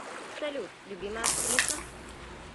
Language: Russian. салют любимая актриса